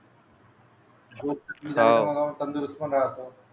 अं तंदुरुस्त पण राहत